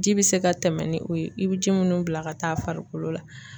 Ji bɛ se ka tɛmɛ ni o ye i be ji minnu bila ka taa farikolo la.